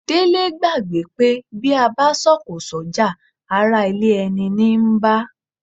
Délé gbàgbé pé bí a bá sọ̀kò sọ́jà ará ilé ẹni ní ń bá